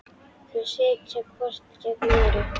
Þau sitja hvort gegnt öðru.